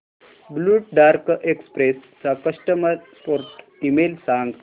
blue Dart Express चा customer support email सांग